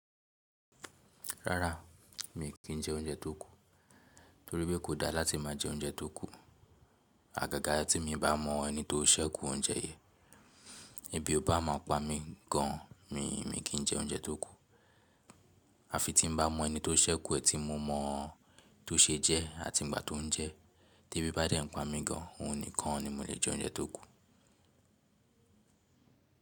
Rárá, mi kì í jẹ oúnjẹ tó kù tori pe kò da láti máa jẹ oúnjẹ tó kù. Àgàgà tí mo bá mọ ẹni tó sékù oúnjẹ yẹn, ibi o bá ma pa mí gan, mi kì í jẹ oúnjẹ tó kù. Àfi tí mo n bá mọ ẹni tó sékù ẹ̀, tí mo mọ tó ṣe jẹ ẹ́ àti ìgbà tó ń jẹ ẹ́, tí ebi bá dẹ́ ń pa mi gan, òun nìkan ni mo lè jẹ oúnjẹ tó kù.